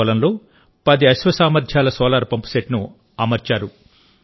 తన పొలంలో పది అశ్వ సామర్థ్యాల సోలార్ పంప్సెట్ను అమర్చారు